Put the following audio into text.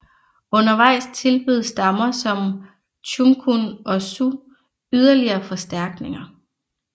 Undervejs tilbød stammer som Chumkun og Su yderligere forstærkninger